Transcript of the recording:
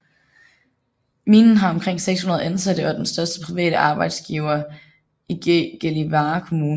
Minen har omkring 600 ansatte og er den største private arbejdsgiver i Gällivare kommune